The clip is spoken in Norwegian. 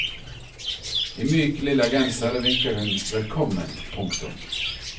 I myk lilla genser vinker hun velkommen. punktum